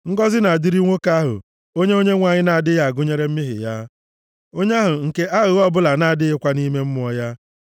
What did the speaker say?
Ngọzị na-adịrị nwoke ahụ, onye Onyenwe anyị na-adịghị agụnyere mmehie ya, onye ahụ nke aghụghọ ọbụla na-adịghịkwa nʼime mmụọ ya.